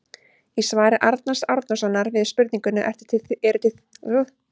Í svari Arnars Árnasonar við spurningunni Eru til þjóðir sem borða mannakjöt?